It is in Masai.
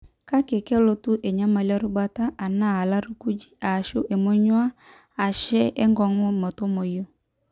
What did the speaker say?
Kake kelotu enyamali irubat, ana lairakuj, ashu emonyua ashe enkongu metumoyu.